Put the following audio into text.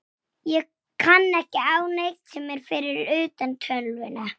Hvernig veistu hvað ég heiti?